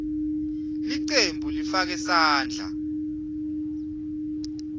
cembu lifake sandla